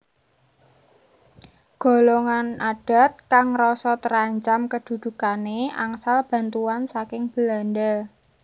Golongan adat kang ngrasa terancam kedudukane angsal bantuan saking Belanda